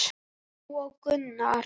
Lóa og Gunnar.